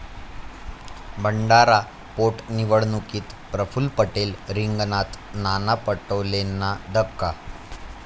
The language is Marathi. भंडारा पोटनिवडणुकीत प्रफुल्ल पटेल रिंगणात, नाना पटोलेंना धक्का